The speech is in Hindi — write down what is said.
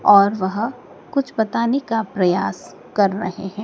और वह कुछ बताने का प्रयास कर रहे है।